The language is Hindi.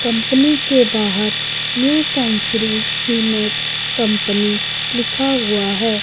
कंपनी के बाहर न्यू सेंचुरी सीमेट कंपनी लिखा हुआ है।